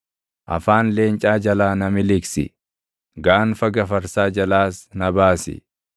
Afaan leencaa jalaa na miliqsi; gaanfa gafarsaa jalaas na baasi.